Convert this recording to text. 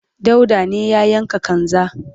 dauda ne ya yanka kanza